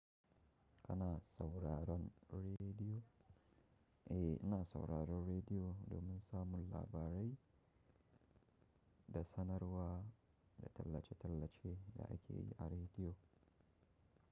Kana sauraron rediyo? Eh, ina sauraron rediyo domin samun labarai da sanarwa da tallace-tallace da ake yi a rediyo.